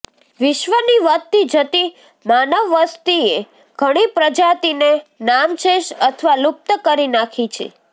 વિશ્ર્વની વધતી જતી માનવવસ્તીએ ધણી પ્રજાતિને નામશેષ અથવા લુપ્ત કરી નાખી છે